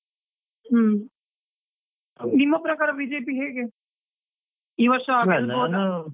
ಹಮ್ಮ್, ನಿಮ್ಮ ಪ್ರಕಾರ BJP ಹೇಗೆ? .